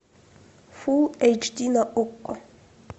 фул эйч ди на окко